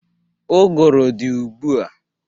Ụgụrụ dị ụgbụ a.